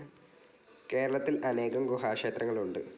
കേരളത്തിൽ അനേകം ഗുഹാ ക്ഷേത്രങ്ങൾ ഉണ്ട്.